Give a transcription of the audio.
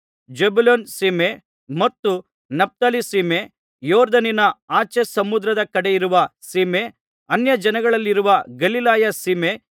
Zebulun ಸೀಮೆ ಮತ್ತು Naphtali ಸೀಮೆ ಯೊರ್ದನಿನ ಆಚೆ ಸಮುದ್ರದ ಕಡೆಗಿರುವ ಸೀಮೆ ಅನ್ಯಜನಗಳಿರುವ ಗಲಿಲಾಯ ಸೀಮೆ